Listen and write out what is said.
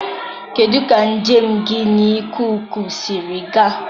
kedụ ka njem gị n'ikuku siri gaa?